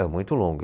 É muito longo.